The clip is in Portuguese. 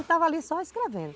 Ele estava ali só escrevendo.